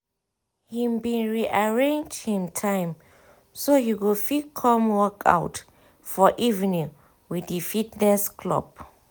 he bin re arrange him time so he go fit come workout for evenings with di fitness club